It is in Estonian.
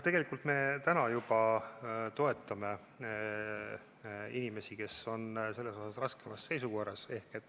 Tegelikult me juba toetame inimesi, kes on raskemas seisukorras.